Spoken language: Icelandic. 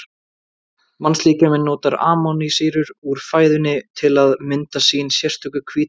Mannslíkaminn notar amínósýrur úr fæðinu til að mynda sín sérstöku hvítuefni.